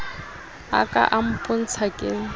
a ka a mpotsa ke